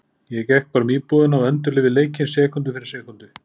Ég gekk bara um íbúðina og endurlifði leikinn sekúndu fyrir sekúndu.